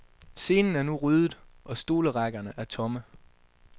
Scenen er nu ryddet, og stolerækkerne er tomme.